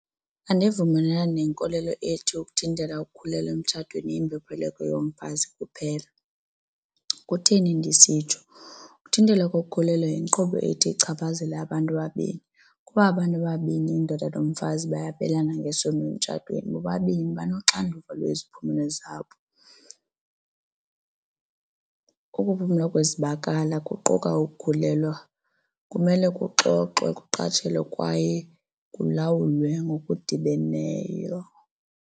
Andivumelani nenkolelo ethi ukuthintela ukukhulelwa emtshatweni yimbopheleko yomfazi kuphela. Kutheni ndisitsho? Ukuthintela kokukhulelwa yinkqubo ethi ichaphazele abantu ababini kuba abantu ababini, indoda nomfazi, babelana ngesondo emtshatweni bobabini banoxanduva lweziphumelo zabo. Ukuphuma kwezibakala kuquka ukukhulelwa kumele kuxoxwe, kuqatshelwe kwaye kulawulwe ngokudibeneyo.